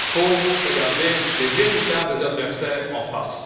Il faut regarder les véritables adversaires en face.